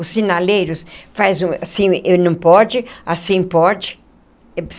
Os sinaleiros faz assim e não pode, assim pode.